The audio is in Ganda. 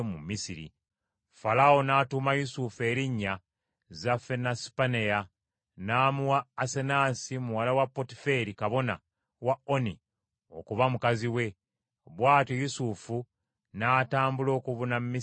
Falaawo n’atuuma Yusufu erinnya Zafenasipaneya; n’amuwa Asenaasi muwala wa Potiferi kabona wa Oni okuba mukazi we. Bw’atyo Yusufu n’atambula okubuna Misiri yonna.